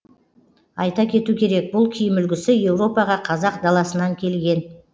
айта кету керек бұл киім үлгісі еуропаға қазақ даласынан келген